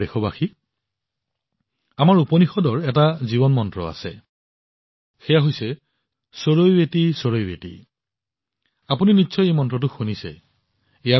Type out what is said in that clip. মোৰ মৰমৰ দেশবাসীসকল আমাৰ উপনিষদৰ এটা জীৱন মন্ত্ৰ আছে চৰৈৱতিচৰৈৱতিচৰৈৱতি আপোনালোকে নিশ্চয় এই মন্ত্ৰটো শুনিছে